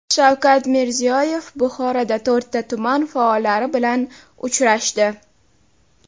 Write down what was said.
Shavkat Mirziyoyev Buxoroda to‘rtta tuman faollari bilan uchrashdi.